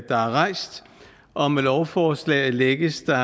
der er rejst og med lovforslaget lægges der